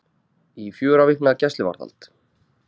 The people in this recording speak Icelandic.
Í fjögurra vikna gæsluvarðhald